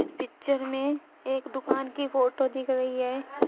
Picture एक दुकान की फोटो दिख रही है।